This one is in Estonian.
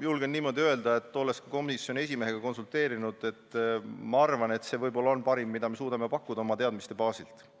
julgen öelda, olles komisjoni esimehega konsulteerinud, et minu arvates on see võib-olla parim, mida me suudame oma teadmiste baasil pakkuda.